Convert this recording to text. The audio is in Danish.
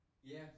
Ja